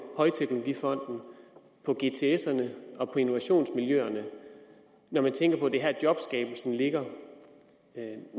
højteknologifonden og på gtserne og på innovationsmiljøerne når man tænker på at det er her jobskabelsen ligger